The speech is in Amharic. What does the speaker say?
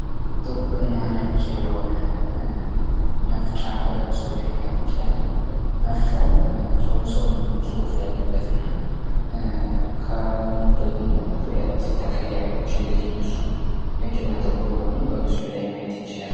በምስሉ ላይ ሁለት ነጭና ጥቁር መፍቻዎች ማየት እንችላለን እና ደግሞ ሁለት ተቀየረዎች እንደዚህ እነሱም በምስሉ ላይ ማየት እንችላለን